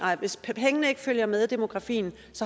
hvis pengene ikke følger med demografien